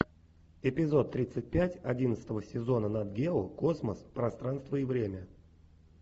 эпизод тридцать пять одиннадцатого сезона нат гео космос пространство и время